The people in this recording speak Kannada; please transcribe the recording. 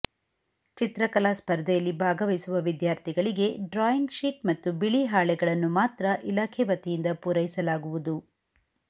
ಚಿತ್ರಕಲಾ ಸ್ಪರ್ಧೆಯಲ್ಲಿ ಭಾಗವಹಿಸುವ ವಿದ್ಯಾರ್ಥಿಗಳಿಗೆ ಡ್ರಾಯಿಂಗ್ ಶೀಟ್ ಮತ್ತು ಬಿಳಿ ಹಾಳೆಗಳನ್ನು ಮಾತ್ರ ಇಲಾಖೆ ವತಿಯಿಂದ ಪೂರೈಸಲಾಗುವುದು